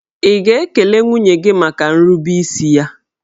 Ị̀ ga-ekele nwunye gị maka nrubeisi ya?